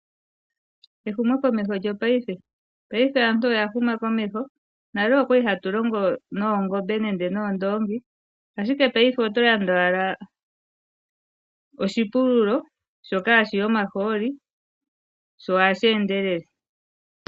Ehumokomeho mopaife Paife aantu oya huma komeho. Nale otwa li hatu longo noondoongi nenge noongombe, ashike paife oto landa owala oshipululo shoka hashi yi omahooli sho ohashi endelele.